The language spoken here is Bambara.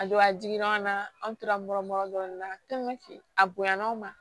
A don a jiginna an na an tora nɔrɔ mɔrɔmin na a bonyana aw ma